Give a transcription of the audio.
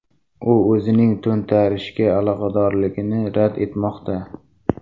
U o‘zining to‘ntarishga aloqadorligini rad etmoqda.